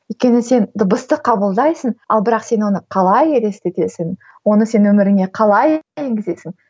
өйткені сен дыбысты қабылдайсың ал бірақ сен оны қалай елестетесің оны сен өміріңе калай енгізесің